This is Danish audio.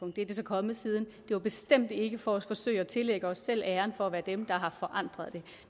det er det så kommet siden det var bestemt ikke for at forsøge at tillægge os selv æren for at være dem der har forandret det